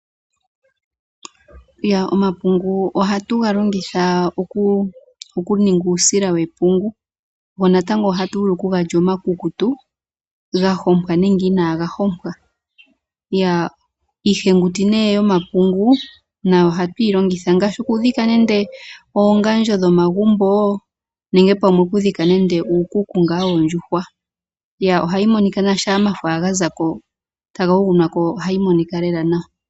Omapungu ohatu ga longitha okuninga uusila wepungu go natango ohatu vulu okuga lya omakukutu ga hompwa nenge inaaga hompwa. Iihenguti yomapungu nayo ohatu yi longitha ngaashi okudhika nando oongandjo dhomagumbo nenge pamwe okudhika nando uukuku ngaa woondjuhwa. Ohayi monika nawa shampa omafo ga za ko taga yuguna ko ohayi monika lela nawa.